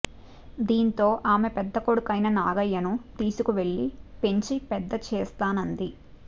దాంతో ఆమె పెద్ద కొడుకైన నాగయ్యను తీసుకు వెళ్ళి పెంచి పెద్ద చేస్తానంది